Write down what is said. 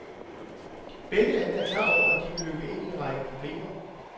Begge lande er klar over, at de vil løbe ind i en række problemer.